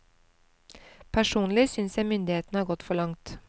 Personlig synes jeg myndighetene har gått for langt.